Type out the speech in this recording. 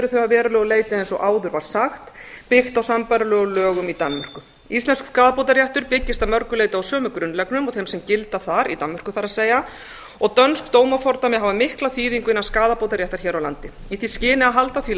að verulegu leyti eins og áður var sagt byggt á sambærilegum lögum í danmörku íslenskur skaðabótaréttur byggist að mörgu leyti á sömu grunnreglum og þeim sem gilda þar það er í danmörku og dönsk dómafordæmi hafa mikla þýðingu innan skaðabótaréttar hér á landi í því skyni að halda því